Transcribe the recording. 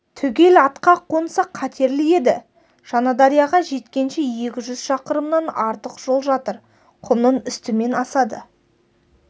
түгел атқа қонса қатерлі еді жаңадарияға жеткенше екі жүз шақырымнан артық жол жатыр құмның үстімен асады